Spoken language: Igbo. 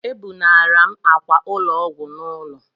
Ebunara m ákwà ụlọ ọgwụ n'ụlọ